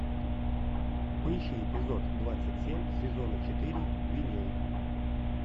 поищи эпизод двадцать семь сезона четыре винил